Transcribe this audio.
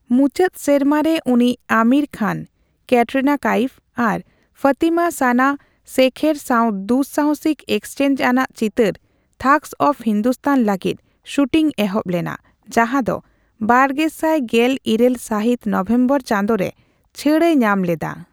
ᱢᱩᱪᱷᱟᱹᱫ ᱥᱮᱨᱢᱟ ᱨᱮ ᱩᱱᱤ ᱟᱢᱤᱨ ᱠᱷᱟᱱ, ᱠᱮᱴᱨᱤᱱᱟ ᱠᱟᱭᱤᱯ ᱟᱨ ᱯᱷᱚᱛᱤᱢᱟ ᱥᱟᱱᱟ ᱥᱮᱠᱷᱮᱨ ᱥᱟᱣ ᱫᱩ ᱥᱟᱦᱚᱥᱤᱠ ᱮᱠᱥᱚᱱᱪᱚᱡᱽ ᱟᱱᱟᱜ ᱪᱤᱛᱟᱹᱨ 'ᱛᱷᱟᱜᱚᱥ ᱚᱷᱯ ᱦᱤᱱᱫᱩᱥᱛᱷᱟᱱ' ᱞᱟᱹᱜᱤᱫ ᱥᱩᱴᱤᱝ ᱮᱦᱚᱵ ᱞᱮᱱᱟ, ᱡᱟᱦᱟᱫᱚ ᱵᱟᱨᱜᱮᱥᱟᱭ ᱜᱮᱞ ᱤᱨᱟ, ᱞ ᱥᱟᱦᱤᱛ ᱱᱚᱵᱷᱮᱢᱵᱚᱨ ᱪᱟᱸᱫᱚ ᱨᱮ ᱪᱷᱟᱹ ᱮ ᱧᱟᱢ ᱞᱮᱫᱟ ᱾